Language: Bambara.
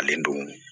Ale don